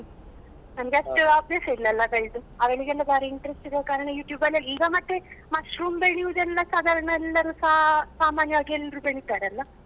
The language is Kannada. ನಮ್ಗಷ್ಟು ಅಭ್ಯಾಸ ಇಲ್ಲ ಅಲ್ಲಾ ಬೆಳ್ದು ಅವ್ಳಿಗೆಲ್ಲಾ ಬಾರಿ interest ಇರುವ ಕಾರಣ YouTube ಅಲ್ಲಿ ಎಲ್ಲ ಈಗ ಮತ್ತೆ mushroom ಬೇಳಿಯುದೆಲ್ಲ ಸಾದಾರ್ಣ ಎಲ್ಲರುಸಾ ಸಾಮನ್ಯವಾಗಿ ಎಲ್ರೂ ಬೆಳಿತಾರಲ್ಲ.